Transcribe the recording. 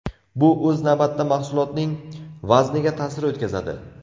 Bu o‘z navbatida mahsulotning vazniga ta’sir o‘tkazadi.